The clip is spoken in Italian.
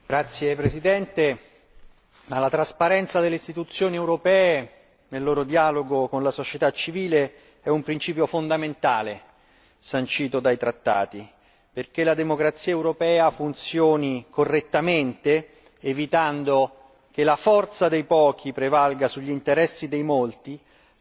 Signora Presidente, onorevoli colleghi, la trasparenza delle istituzioni europee nel loro dialogo con la società civile è un principio fondamentale sancito dai trattati. Affinché la democrazia europea funzioni correttamente, evitando che la forza dei pochi prevalga sugli interessi dei molti,